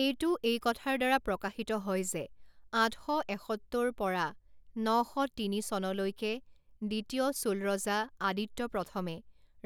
এইটো এই কথাৰ দ্বাৰা প্ৰকাশিত হয় যে আঠ শ এসত্তৰ পৰা ন শ তিনি চনলৈকে দ্বিতীয় চোল ৰজা আদিত্য প্ৰথমে